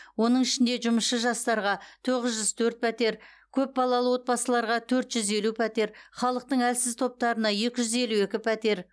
оның ішінде жұмысшы жастарға тоғыз жүз төрт пәтер көпбалалары отбасыларға төрт жүз елу пәтер халықтың әлсіз топтарына екі жүз елу екі пәтер